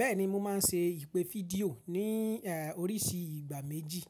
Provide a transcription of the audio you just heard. Bẹ́ẹ̀ni mo ma n ṣe ìpè fídíò ní oríṣi ìgbà méjì.